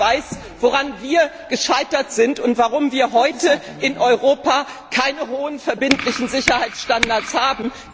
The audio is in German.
Frau Niebler weiß, woran wir gescheitert sind und warum wir heute in Europa keine hohen verbindlichen Sicherheitsstandards haben.